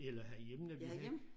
Eller herhjemme når vi